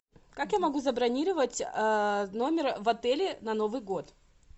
как я могу забронировать номер в отеле на новый год